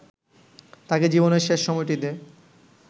তাঁকে জীবনের শেষ সময়টিতে